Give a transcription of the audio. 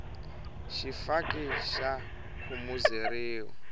xifaki xa khumuzeriwa